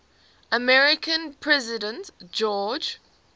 american president george